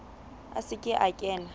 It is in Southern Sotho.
a se ke a kena